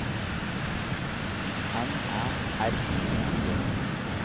N Æ R I N G